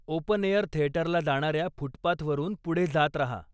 Open air थेटरला जाण्याऱ्या फूटपाथवरून पुढे जात राहा.